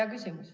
Hea küsimus.